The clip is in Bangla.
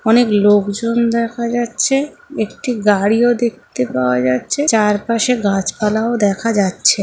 অনেক লোকজন দেখা যাচ্ছে একটি গাড়িও দেখতে পাওয়া যাচ্ছে চারপাশে গাছপালাও দেখা যাচ্ছে।